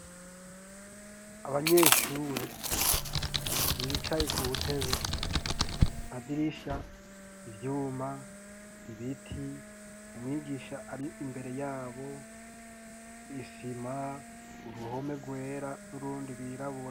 Abanyeshure, bicaye ku ntebe, amadirisha, ivyuma, ibiti, umwigisha, ari imbere yabo, isima, uruhome rwera, n'urundi rwirabura.